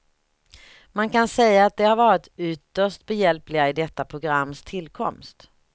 Man kan säga att de har varit ytterst behjälpliga i detta programs tillkomst.